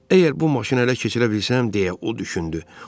Əgər bu maşını hələ keçirə bilsəm, deyə o düşündü.